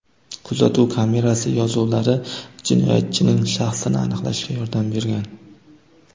Kuzatuv kamerasi yozuvlari jinoyatchining shaxsini aniqlashga yordam bergan.